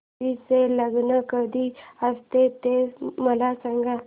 तुळशी चे लग्न कधी असते ते मला सांग